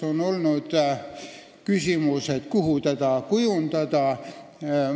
On olnud küsimus, kus see mehhanism peaks asuma.